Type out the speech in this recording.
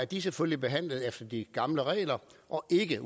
de selvfølgelig behandlet efter de gamle regler og er ikke